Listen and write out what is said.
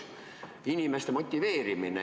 Inimeste motiveerimine.